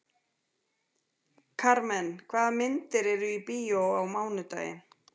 Karmen, hvaða myndir eru í bíó á mánudaginn?